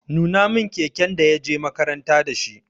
Nuna min keken da ya je makaranta da shi!